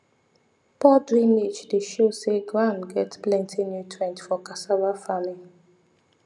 poor drainage dey show say ground get plenty nutrients for cassava farming